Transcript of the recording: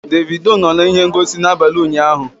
Davido nọ na ihe ngosi n'abalị ụnyahụ?